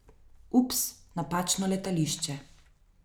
Ups, napačno letališče.